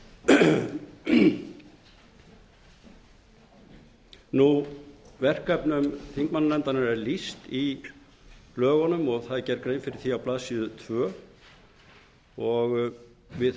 bak við það verkefnum þingmannanefndarinnar er lýst í blöðunum og það er gerð grein fyrir því á blaðsíðu annars við höfum þessi